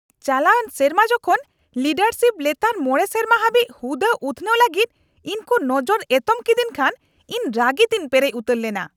ᱪᱟᱞᱟᱣᱮᱱ ᱥᱮᱨᱢᱟ ᱡᱚᱠᱷᱚᱱ ᱞᱤᱰᱟᱨᱥᱤᱯ ᱞᱮᱛᱟᱲ ᱕ ᱥᱮᱨᱢᱟ ᱦᱟᱹᱵᱤᱡ ᱦᱩᱫᱟᱹ ᱩᱛᱱᱟᱹᱣ ᱞᱟᱹᱜᱤᱫ ᱤᱧᱠᱚ ᱱᱚᱡᱚᱨ ᱮᱛᱚᱢ ᱠᱮᱫᱤᱧ ᱠᱷᱟᱱ ᱤᱧ ᱨᱟᱹᱜᱤ ᱛᱮᱧ ᱯᱮᱨᱮᱡ ᱩᱛᱟᱹᱨ ᱞᱮᱱᱟ ᱾ (ᱠᱟᱹᱢᱤᱭᱟᱹ ᱑)